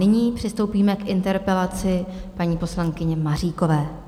Nyní přistoupíme k interpelaci paní poslankyně Maříkové.